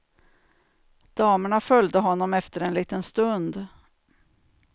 Damerna följde honom efter en liten stund.